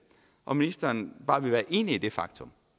om ministeren bare vil være enig i det faktum